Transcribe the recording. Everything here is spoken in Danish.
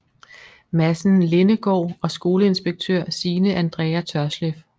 Madsen Lindegaard og skoleinspektør Signe Andrea Tørsleff